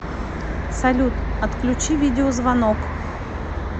салют отключи видеозвонок